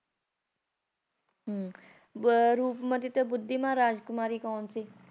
ਹਮ ਹੁੰ ਬ ਰੂਪਮਤੀ ਤੇ ਬੁੱਧੀਮਾਨ ਰਾਜਕੁਮਾਰੀ ਕੌਣ ਸੀ